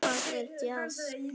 Hvað er djass?